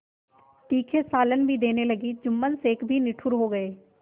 तीखे सालन भी देने लगी जुम्मन शेख भी निठुर हो गये